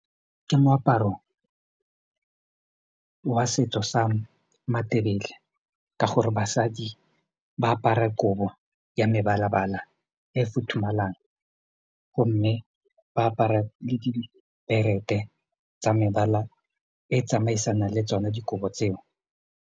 Ke moaparo wa setso sa matelele ka gore basadi ba apara kobo ya mebala-bala e futhumalang gomme ba apara le ke diberethe tsa mebala e tsamaisanang le tsone dikobo tseo.